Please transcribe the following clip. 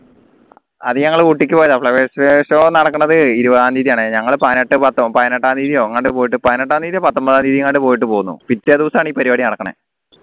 അത് ഞങ്ങൾ ഊട്ടിക്ക് പോയതാ flower show നടക്കണത് ഇരുപതാം തീയതിയാണ് ഞങ്ങൾ പതിനെട്ട് പത്തോ പതിനെട്ടാം തിയതിയോ എങ്ങാണ്ട് പോയിട്ട് പതിനെട്ടാം തിയതിയോ പത്തൊമ്പതാം തിയതിയോ എങ്ങാണ്ട് പോയിട്ട് പൊന്നു പിറ്റേ ദിവസമാണ് ഈ പരിപാടി നടക്കണത്